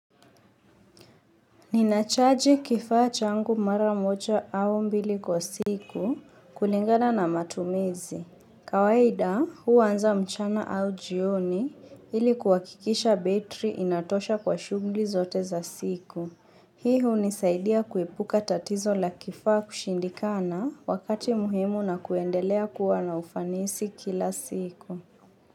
Ninachaji kifaa changu mara mocha au mbili kwa siku kulingana na matumizi. Kawaida huanza mchana au jioni ili kuhakikisha betri inatosha kwa shughuli zote za siku. Hii hunisaidia kuepuka tatizo la kifaa kushindikana wakati muhimu na kuendelea kuwa na ufanisi kila siku.